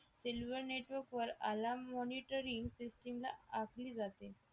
cellular network वर alarm monitoring system ला आखली जाते